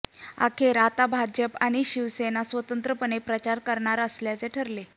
अखेर आता भाजप व शिवसेना स्वतंत्रपणे प्रचार करणार असल्याचे ठरले